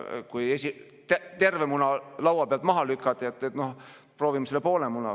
Noh, kui terve muna laua pealt maha lükati, siis proovime poole muna.